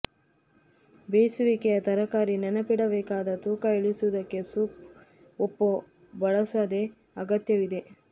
ಬೇಯಿಸುವಿಕೆಯ ತರಕಾರಿ ನೆನಪಿಡಬೇಕಾದ ತೂಕ ಇಳಿಸುವುದಕ್ಕೆ ಸೂಪ್ ಉಪ್ಪು ಬಳಸದೆ ಅಗತ್ಯವಿದೆ